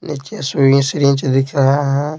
एक चेस वि श रिंच दिख रहा है।